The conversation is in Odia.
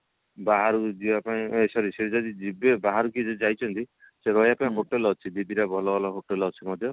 ବାହାରକୁ ଯିବା ପାଇଁ ଏ sorry ସେ ଯଦି ଯିବେ ବାହାରୁ ଯଦି କିଏ ଯାଇଛନ୍ତି ରହିବା ପାଇଁ hotel ଅଛି ଦି ଦିଟା ଭଲ ଭଲ ହୋଟେଲ ଅଛି ମଧ୍ୟ